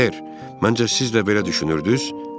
Ser, məncə siz də belə düşünürdünüz?